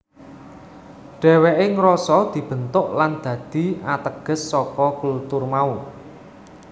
Dheweke ngrasa dibentuk lan dadi ateges saka kultur mau